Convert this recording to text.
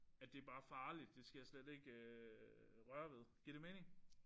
At det er bare farligt det skal jeg slet ikke røre ved. Giver det mening?